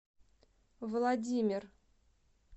владимир